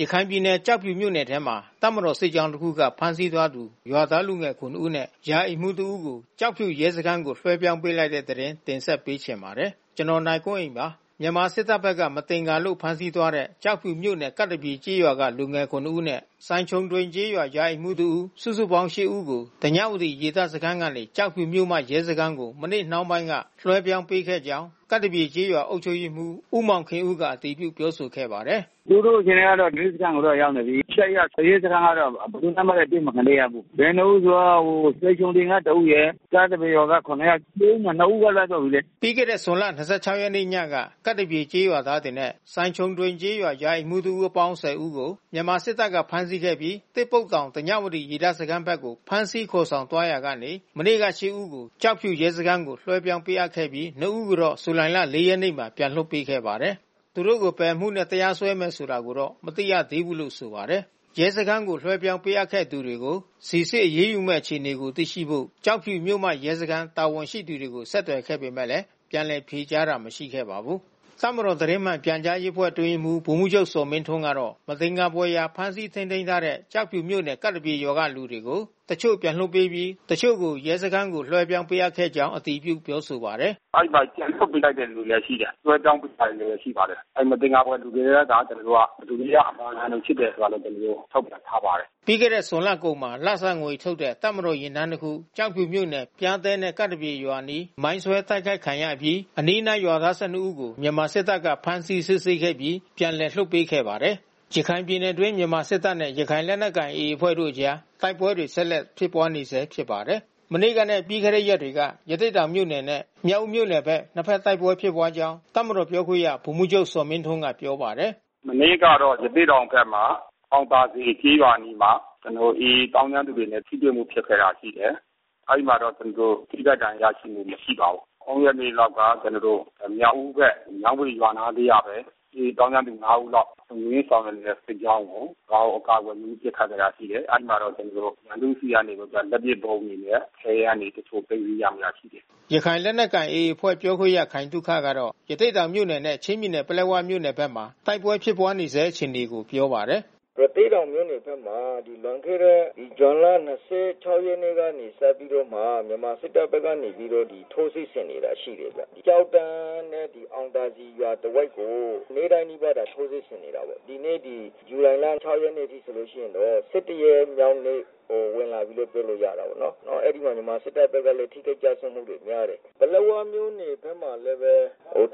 ရခိုင်ပြည်နယ် ကျောက်ဖြူမြို့နယ်ထဲမှာ တပ်မတော်စစ်ကြောင်း တခုက ဖမ်းဆီးသွားသူ ရွာသားလူငယ် ခုနစ် ဦးနဲ့ ရာအိမ်မှူးတဦးကို ကျောက်ဖြူရဲစခန်းကို လွှဲပြောင်းပေးလိုက်တဲ့သတင်းကို ဗွီအိုအေမြန်မာပိုင်းသတင်းထောက် ကိုနိုင်ကွန်းအိန်က တင်ဆက်ပေးပါမယ်။ မြန်မာစစ်တပ်ဘက်က မသင်္ကာလို့ ဖမ်းဆီးသွားတဲ့ ကျောက်ဖြူမြို့နယ်၊ ကပ်သပြေ ကျေးရွာက လူငယ် ခုနစ်ဦးနဲ့ စိုင်ခြုံ ဒွိန်ကျေးရွာရာအိမ်မှူး တဦး စုစုပေါင်း ရှစ် ဦးကို ဓညဝတီရေတပ်စခန်းကနေ ကျောက်ဖြူမြို့မ ရဲစခန်းကို မနေ့နှောင်းပိုင်းက လွှဲပြောင်းပေးခဲ့ကြောင်း ကပ်သပြေကျေးရွာ အုပ်ချုပ်ရေးမှူးဦးမောင်ခင်ဦးက အတည်ပြုပြောဆိုခဲ့ပါတယ်။ “သူတို့ အခြေအနေက ရဲစခန်းကို ရောက်နေပြီး။ ရှစ်ယောက်။ ရဲစခန်းကတော့ ဘယ်သူနဲ့မှတော့ အတွေ့မခံရသေးဘူး။ ဘယ်နှစ်ဦးဆိုတော့ စိုင်ခြုံဒွိန်က တဦးရယ်။ ကပ်သပြေရွာက ခုနစ်ယောက်။ ၁၀ ဦးမှာ ၂ ဦးက လွတ်သွားပြီလေ။” ပြီးခဲ့တဲ့ ဇွန်လ ၂၆ ရက်နေ့ညက ကပ်သပြေရွာသားတွေနဲ့ စိုင်ခြုံဒွိန်ကျေးရွာ ရာအိမ်မှူးတဦးအပေါင်း ၁၀ ဦးကို မြန်မာစစ်တပ်က ဖမ်းဆီးခဲ့ပြီး သစ်ပုတ်တောင် ဓညဝတီ ရေတပ်စခန်းဘက်ကို ဖမ်းဆီးခေါ်ယူသွားရာကနေ မနေ့က ရှစ် ဦးကို ကျောက်ဖြူရဲစခန်းကို လွှဲပြောင်းပေးအပ်ခဲ့ပြီး နှစ်ဦးကိုတော့ ဇူလိုင် ၄ ရက်နေ့မှာ ပြန်လွှတ်ပေးခဲ့ပါတယ်။ သူတို့ကို ဘယ်အမှုနဲ့ တရားစွဲမယ်ဆိုတာကိုတော့ မသိရသေးဘူးလို့ ဆိုပါတယ်။ ရဲစခန်းကို လွှဲပြောင်းပေးအပ်ခဲ့တဲ့သူတွေကို စိစစ်အရေးယူမဲ့အခြေအနေကို သိရှိဖို့ ကျောက်ဖြူမြို့မ ရဲစခန်း တာဝန်ရှိသူတွေကို ဆက်သွယ်ခဲ့ပေမဲ့ ပြန်လည်ဖြေကြားတာ မရှိခဲ့ပါဘူး။ တပ်မတော်သတင်းမှန်ပြန်ကြားရေးအဖွဲ့ အတွင်းရေးမှူး ဗိုလ်မှူးချုပ်ဇော်မင်းထွန်းကတော့ မသင်္ကာဖွယ်ရာ ဖမ်းဆီးထိန်းသိမ်းထားတဲ့ ကျောက်ဖြူမြို့နယ်၊ ကပ်သပြေရွာကလူတွေကို တချို့ပြန်လွှတ်ပေးပြီး တချို့ကို ရဲစခန်းကို လွှဲပြောင်း ပေးခဲ့ကြောင်းအတည်ပြုပြောဆိုပါတယ်။ “အဲဒီမှာ ပြန်လွှတ်ပေးတဲ့လူလည်း ရှိတယ်။ လွှဲပြောင်းပေးထားတဲ့ လူလည်း ရှိပါတယ်။ မသင်္ကာဖွယ်လူတွေနဲ့က ကျနော်တို့က ဘယ်သူတွေက အမာခံတွေဖြစ်တာဆိုတာလဲ ကျနော်တို့က ထုတ်ဖေါ်ထားပါတယ်။” ပြီးခဲ့တဲ့ ဇွန်လကုန်မှာ လစာငွေထုတ်တဲ့ တပ်မတော်ယာဉ်တန်း တစ်ခု ကျောက်ဖြူမြို့နယ် ပျားတဲနဲ့ ကပ်သပြေ ရွာအနီး မိုင်းဆွဲတိုက်ခိုက်ခံရအပြီး အနီးနားရွာသား ၁၂ ဦးကို မြန်မာစစ်တပ်က ဖမ်းဆီးစစ်ဆေးခဲ့ပြီး ပြန်လည် လွှတ်ပေးခဲ့ပါတယ်။ ရခိုင်ပြည်နယ်အတွင်း မြန်မာစစ်တပ်နဲ့ ရခိုင်လက်နက်ကိုင် AA အဖွဲ့တို့အကြား တိုက်ပွဲတွေဆက်လက်ဖြစ်ပွါးနေဆဲဖြစ်ပါတယ်။ မနေ့ကနဲ့ ပြီးခဲ့တဲ့ရက်တွေက ရသေ့တောင်မြို့နယ်နဲ့ မြောက်ဦးမြို့နယ်ဘက် နှစ်ဘက်တိုက်ပွဲဖြစ်ပွါးကြောင်း တပ်မတော်ပြောခွင့်ရ ဗိုလ်မှူးချုပ်ဇော်မင်းထွန်းကပြောပါတယ်။ “မနေ့ကတော့ ရသေ့တောင်ဘက်မှာ အောင်သာစည်ကျေးရွာအနီးမှာ ကျနော်တို့ AA သောင်းကျန်းသူတွေနဲ့ ထိတွေ့ ဖြစ်ခဲ့တာရှိတယ်။ အဲဒီမှာ ကျနော်တို့ ထိခိုက်ဒဏ်ရာ ရရှိမှု မရှိပါဘူး။ ၃ ရက်နေ့တုန်းက ကျနော်တို့ မြောက်ဦးဘက် မြောင်းဘွေရွာနားလေးကပဲ။ AA သောင်းကျန်းသူ ၅ ဦးလောက် လုံခြုံရေးဆောင်ရွက်နေတဲ့ စစ်ကြောင်းကို ရွာကို အကာကွယ်ယူပြီး ပစ်ခတ်ခဲ့တာရှိတယ်။ အဲဒီမှာတော့ ကျနော်တို့ ရန်သူ့ဆီက လက်ပစ်ဗုံးတွေရယ်။ ခဲယမ်းတွေ တချို့သိမ်းဆည်း ရမိတာ ရှိတယ်။” ရခိုင်လက်နက်ကိုင် AA အဖွဲ့ပြောခွင့်ရခိုင်သုခကတော့ ရသေ့တောင်မြို့နယ်နဲ့ ချင်းပြည်နယ်ပလက်ဝမြို့နယ်ဘက်မှာ တိုက်ပွဲဖြစ်ပွါးနေဆဲ အခြေအနေကို ပြောပါတယ်။ “ရသေ့တောင်မြို့နယ်ဘက်မှာ လွန်ခဲ့တဲ့ဇွန်လ ၂၆ ရက်နေ့ကနေ စပြီးတော့မှ မြန်မာစစ်တပ်ဘက်ကနေ ထိုးစစ်ဆင်နေတာ ရှိတယ်ဗျ။ ကျောက်တန်းနဲ့ အောင်သာစည်ရွာ တဝိုက်ကို နေ့တိုင်းနီးပါးထိုးစစ်ဆင်နေတာပေါ့။ ဒီနေ့ ဒီ ဇူလိုင်လ ၆ ရက်နေ့အထိဆိုရင်တော့ ၁၁ ရက်မြောက်နေ့ ဝင်လာပြီးလို့ ပြောလို့ရတာပေါ့။ အဲဒီမှာကလည်း မြန်မာစစ်တပ်ဘက်က ထိခိုက်ကျဆုံးမှုများတယ်ပေါ့နော။ ပလက်ဝမြို့နယ်ဘက်မှာလည်းပဲ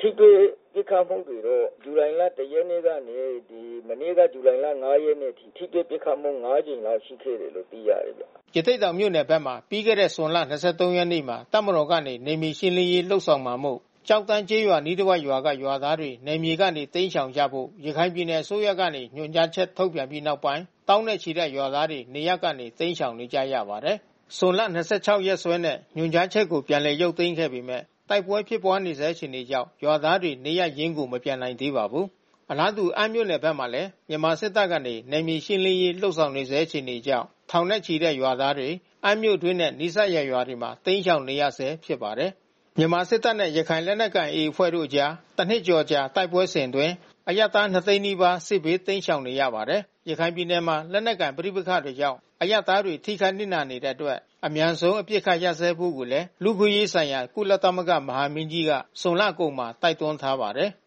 ထိတွေ့ပစ်ခတ်မှုတွေတော့ ဇူလိုင်လ ၁ ရက်နေ့ကနေ မနေ့က ဇူလိုင်လ ၅ ရက်နေ့အထိ ထိတွေ့ပစ်ခတ်မှု ၅ ကြိမ်ခန့်ရှိခဲ့တယ်လို့ သိရတယ်ဗျ။” ရသေ့တောင်မြို့နယ်ဘက်မှာ ပြီးခဲ့တဲ့ဇွန်လ ၂၃ ရက်နေ့မှာ တပ်မတော်ကနေ နယ်မြေရှင်းလင်းရေးလုပ်ဆောင်မှာမို့ ကျောက်တန်းကျေးရွာအနီး တဝိုက်ရွာက ရွာသားတွေနယ်မြေကနေတိမ်းရှောင်ကြဖို့ ရခိုင်ပြည်နယ်အစိုးရကနေ ညွှန်ကြားချက်ထုတ်ပြန်ပြီးနောက်ပိုင်း သောင်းနဲ့ ချီတဲ့ရွာသားတွေ နေရပ်ကနေ တိမ်းရှောင်နေရပါတယ်။ ဇွန်လ ၂၆ ရက်စွဲနဲ့ ညွှန်ကြားချက်ကို ပြန်ရုပ်သိမ်းခဲ့ပေမဲ့ တိုက်ပွဲဖြစ်ပွါးနေဆဲ အခြေအနေကြောင့် ရွာသားတွေ နေရပ်ရင်းကို မပြန်နိုင်သေးပါဘူး။ အလားတူအမ်းမြို့နယ်ဘက်မှာလည်း မြန်မာစစ်တပ်ကနေ နယ်မြေရှင်းလင်းရေးလုပ်ဆောင်နေဆဲ အခြေအနေကြောင့် ထောင်နဲ့ချီတဲ့ ရွာသားတွေ အမ်းမြို့အတွင်းနဲ့ နီးစပ်ရာရွာတွေမှာ တိမ်းရှောင်နေရဆဲဖြစ်ပါတယ်။ မြန်မာစစ်တပ်နဲ့ ရခိုင်လက်နက်ကိုင် AA အဖွဲ့တို့အကြားတနှစ်ကျော်အကြာ တိုက်ပွဲစဉ်အတွင်း အရပ်သား ၂၀၀,၀၀၀ နီးပါး စစ်ဘေးတိမ်းရှောင်နေရပါတယ်။ ရခိုင်ပြည်နယ်မှာ လက်နက်ကိုင် ပဋိပက္ခတွေကြောင့် အရပ်သားတွေ ထိခိုက်နစ်နာနေရတဲ့အတွက် အမြန်ဆုံး အပစ်အခတ်ရပ်ဖို့လည်း လူ့အခွင့်အရေးဆိုင်ရာ ကုလသမဂ္ဂ မဟာမင်းကြီးက ဇွန်လကုန်မှာ တိုက်တွန်းထားပါတယ်။